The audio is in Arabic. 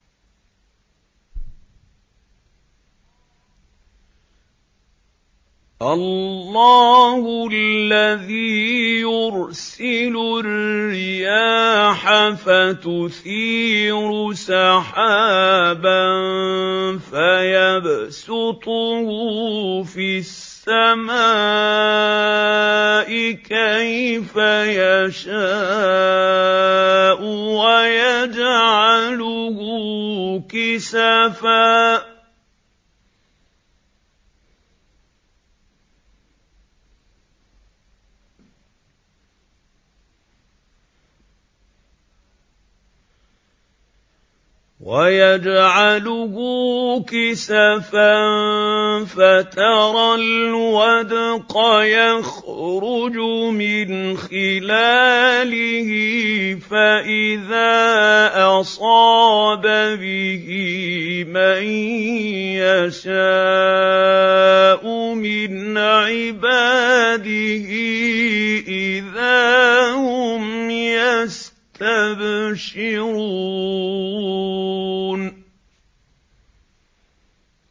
اللَّهُ الَّذِي يُرْسِلُ الرِّيَاحَ فَتُثِيرُ سَحَابًا فَيَبْسُطُهُ فِي السَّمَاءِ كَيْفَ يَشَاءُ وَيَجْعَلُهُ كِسَفًا فَتَرَى الْوَدْقَ يَخْرُجُ مِنْ خِلَالِهِ ۖ فَإِذَا أَصَابَ بِهِ مَن يَشَاءُ مِنْ عِبَادِهِ إِذَا هُمْ يَسْتَبْشِرُونَ